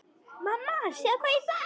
Mamma sjáðu hvað ég fann!